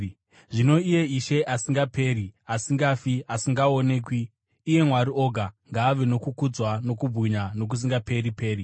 Zvino iye Ishe asingaperi, asingafi, asingaonekwi, iye Mwari oga, ngaave nokukudzwa nokubwinya nokusingaperi-peri.